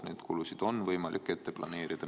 Neid kulusid on võimalik ette planeerida.